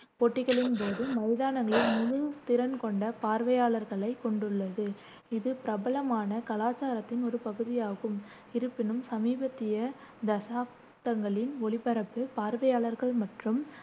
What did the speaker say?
போட்டிகளின் போது மைதானங்களில் முழு திறன் கொண்ட பார்வையாளர்களைக் கொண்டுள்ளது இது பிரபலமான கலாச்சாரத்தின் ஒரு பகுதியாகும். இருப்பினும், சமீபத்திய தசாப்தங்களில், ஒளிபரப்பு பார்வையாளர்கள் மற்றும்